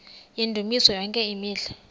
yendumiso yonke imihla